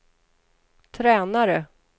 tränare